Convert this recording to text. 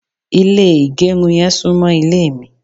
ile igerun yen sunmo ile mi